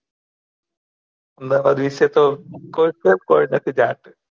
અમદાવાદ વિષય તો કોઈ કોઈ કોઈ નથી જાણતું